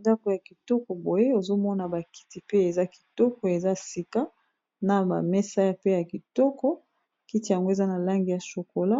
ndako ya kitoko boye ozomona bakiti pe eza kitoko eza sika na bamesaya pe ya kitoko kiti yango eza na langi ya shokola